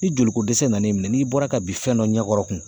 Ni jolikodɛsɛ na n'i minɛn n'i bɔra ka bin fɛn dɔ ɲɛkɔrɔ kun